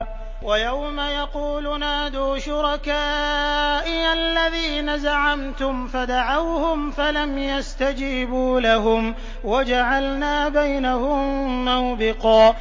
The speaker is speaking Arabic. وَيَوْمَ يَقُولُ نَادُوا شُرَكَائِيَ الَّذِينَ زَعَمْتُمْ فَدَعَوْهُمْ فَلَمْ يَسْتَجِيبُوا لَهُمْ وَجَعَلْنَا بَيْنَهُم مَّوْبِقًا